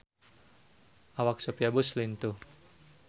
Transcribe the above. Awak Sophia Bush lintuh